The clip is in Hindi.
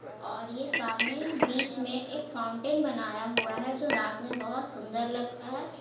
और ये सामने बीच में एक फाउंटेन बनाया हुआ है जो रात में बहुत सुंदर लगता है।